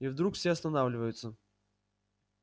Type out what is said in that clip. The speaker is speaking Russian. и вдруг все останавливаются